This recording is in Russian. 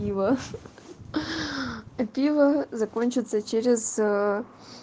пиво хи-хи а пиво закончится через